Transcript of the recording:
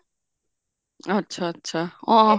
ਅੱਛਾ ਅੱਛਾ ਆਹ